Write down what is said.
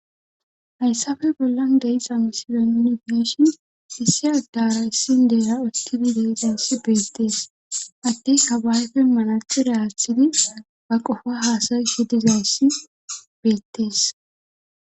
Hayssafe bollan de7iza miside nuni be7eshin issi addara issi indeera utibi deizayssi beettees addeyka ba ayfen manaxire aaththidi ba qofa haasayishi dizayss beettees.